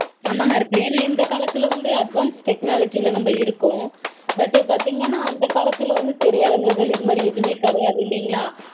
ஆம்மா ஹரிப்பிரியா. ஏன்னா இந்த காலத்துல வந்து advance technology -ல நம்ம இருக்கோம். But பாத்தீங்கனா அந்த காலத்துல வந்து திரையரங்குகள் இந்த மாதிரி எதுவுமே கெடையாது இல்லீங்களா?